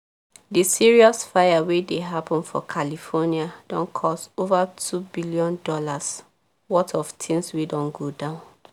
di serious fire wey dey happen for california don cause over $2 billion worth of things wey don go down